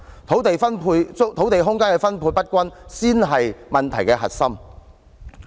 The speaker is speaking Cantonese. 土地空間分配不均才是問題的核心。